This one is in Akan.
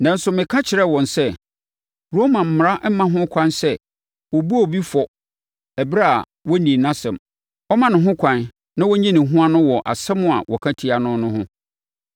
“Nanso, meka kyerɛɛ wɔn sɛ, Roma mmara mma ho kwan sɛ wɔbu obi fɔ ɛberɛ a wɔnnii nʼasɛm; wɔma no ho kwan na ɔyi ne ho ano wɔ asɛm a wɔka tia no no ho.